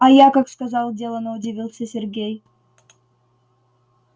а я как сказал делано удивился сергей